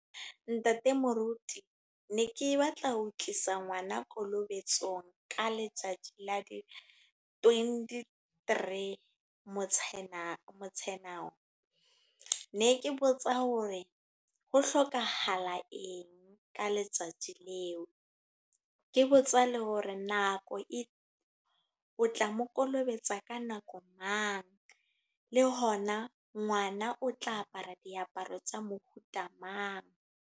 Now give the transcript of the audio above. Ntate Moruti. Ne ke batla ho tlisa ngwana kolobetsong, ka letsatsi la di twenty-three Motsheanong. Ne ke botsa hore, ho hloka hala eng? Ka letsatsi leo. Ke botsa le hore nako, o tla mo kolobetsa ka nako mang? Le hona ngwana o tla apara diaparo tsa mohuta mang?